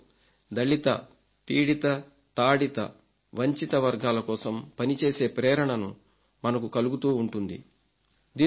దీంతో దళిత పీడిత తాడిత వంచిత వర్గాల కోసం పనిచేసే ప్రేరణను మనకు కలుగుతూ ఉంటుంది